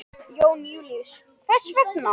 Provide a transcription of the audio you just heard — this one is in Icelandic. Jón Júlíus: Hvers vegna?